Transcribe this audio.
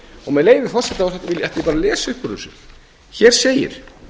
og með leyfi forseta ætla ég bara að lesa upp úr þessu hér segir